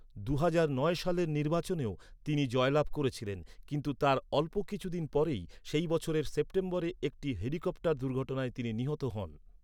দুহাজার নয় সালের নির্বাচনেও তিনি জয়লাভ করেছিলেন, কিন্তু তার অল্প কিছুদিন পরেই সেই বছরের সেপ্টেম্বরে একটি হেলিকপ্টার দুর্ঘটনায় তিনি নিহত হন।